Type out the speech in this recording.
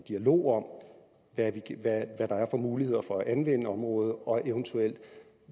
dialog om hvad der er for muligheder for at anvende området og eventuelt